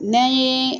N'an ye